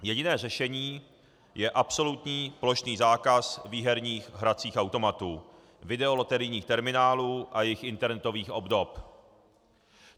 Jediné řešení je absolutní plošný zákaz výherních hracích automatů, videoloterijních terminálů a jejich internetových obdob.